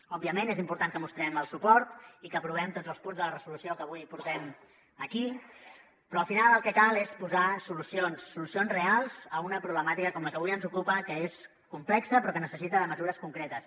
òbviament és important que mostrem el suport i que aprovem tots els punts de la resolució que avui portem aquí però al final el que cal és posar solucions solucions reals a una problemàtica com la que avui ens ocupa que és complexa però que necessita de mesures concretes